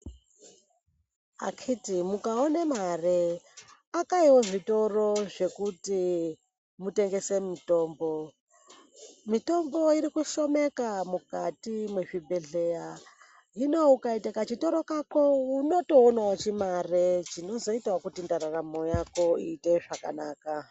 Akiti mukaone mare akaiwo zvitoro zvekuti mutengese mitombo ,mitombo irikushomeka mukati mwezvibhehlera hino ukaite kachitoro kako unotowonawo chimare chinozoite kuti ndaramo yako itewo zvakanaka.